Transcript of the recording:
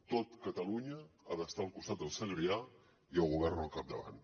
tot catalunya ha d’estar al costat del segrià i el govern al capdavant